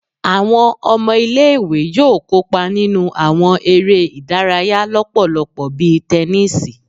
Awọn ọmọ ile-iwe yoo kopa ninu awọn ere idaraya lọpọlọpọ bi tẹnisi